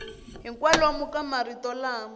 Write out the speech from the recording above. hi kwalomu ka marito lama